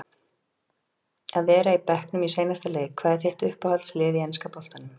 að vera á bekknum í seinasta leik Hvað er þitt uppáhalds lið í enska boltanum?